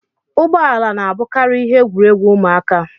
Ụgbọ ala na-abụkarị ihe egwuregwu ụmụaka